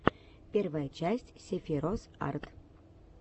первая часть сефирос арт